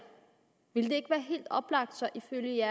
ville ikke være helt oplagt ifølge